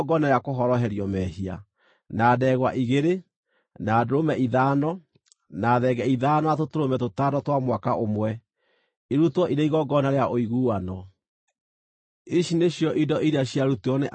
na ndegwa igĩrĩ, na ndũrũme ithano, na thenge ithano, na tũtũrũme tũtano twa mwaka ũmwe, irutwo irĩ igongona rĩa ũiguano. Ici nĩcio indo iria ciarutirwo nĩ Ahira mũrũ wa Enani.